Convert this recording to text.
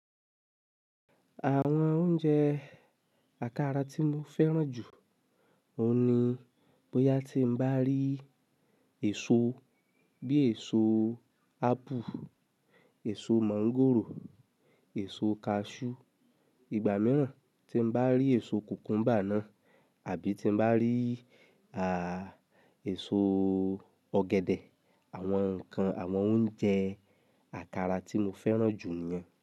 Àwọn oúnjẹ àkàrà tí mo fẹ́ràn jù, òun ni bóyá tí n bá rí èso bí èso ápù, èso mọ̀ngòrò, èso kaṣú, ìgbà mìíràn tí n bá rí èso kùkúmbà náà àbí tí n bá rí a, èso ọ̀gẹ̀dẹ̀, àwọn nǹkan, àwọn oúnjẹ àkàrà tí mo fẹ́ràn jù ni yẹn.